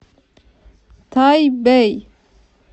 тайбэй